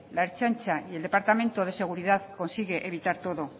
la ertzaintza y el departamento de seguridad consigue evitar todo